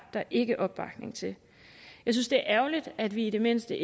der ikke er opbakning til jeg synes det er ærgerligt at vi i det mindste